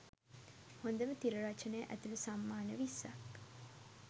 හොඳම තිර රචනය ඇතුළු සම්මාන විස්සක්